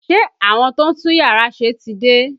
Ṣé àwọn tó ń tún yàrá ṣe ti dé?